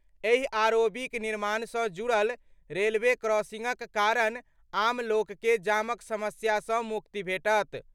एहि आरओबीक निर्माणसँ जुड़ल रेलवे क्रॉसिंगक कारण आम लोकके जामक समस्यासँ मुक्ति भेटत।